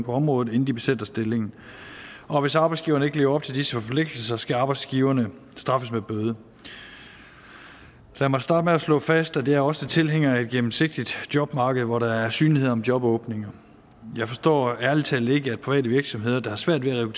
området inden de besætter stillinger og hvis arbejdsgiveren ikke lever op til disse forpligtelser skal arbejdsgiverne straffes med bøde lad mig starte med at slå fast at jeg også er tilhænger af et gennemsigtigt jobmarked hvor der er synlighed om jobåbninger jeg forstår ærlig talt ikke at private virksomheder der har svært ved at